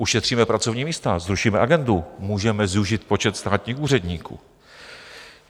Ušetříme pracovní místa, zrušíme agendu, můžeme zúžit počet státních úředníků.